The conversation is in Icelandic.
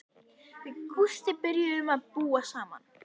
Við Gústi byrjuðum að búa saman.